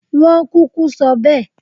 Wọ́n kúkú sọ bẹ́ẹ̀